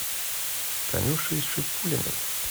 танюшей шипулиной